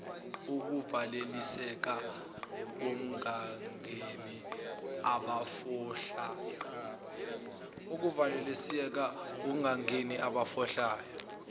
ukuvalisiseka kungangeni abafohlayo